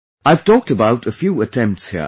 I've talked about a few attempts here